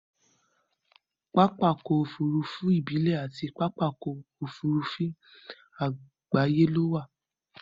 Pápákọ̀ òfurufú ìbílẹ̀ àti pápákọ̀ òfurufú àgbáyé wà.